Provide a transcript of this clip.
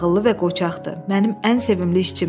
Ağıllı və qoçaqdır, mənim ən sevimli işçimdir.